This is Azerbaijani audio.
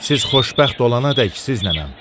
Siz xoşbəxt olanadək siznənəm.